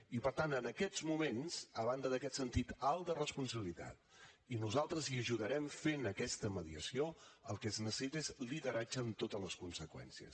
i per tant en aquests moments a banda d’aquest sentit alt de responsabilitat i nosaltres hi ajudarem fent aquesta mediació el que es necessita és lideratge amb totes les conseqüències